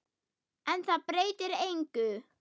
En það breytir engu.